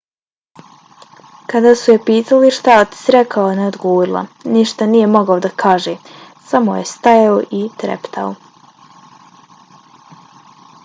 kada su je pitali šta je otac rekao ona je odgovorila: ništa nije mogao da kaže - samo je stajao i treptao.